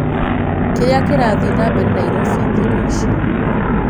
kĩria kĩrathĩe nambere naĩrobĩ thĩkũ ĩcĩ